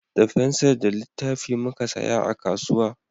Da fensir da littafi muka saya a kasuwa